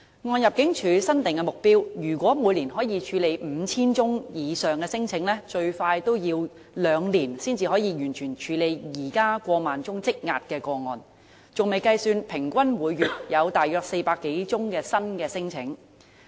按入境處新定目標，如果每年可以處理 5,000 宗以上聲請，最快也要兩年才能完成處理現時過萬宗積壓個案，還未計算平均每月有大約400多宗新聲請。